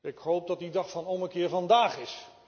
Ik hoop dat die dag van ommekeer vandaag is.